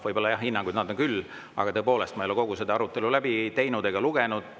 Võib-olla jah, hinnanguid anda küll, aga tõepoolest, ma ei ole kogu seda arutelu läbi teinud ega läbi lugenud.